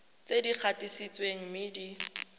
tse di gatisitsweng mme di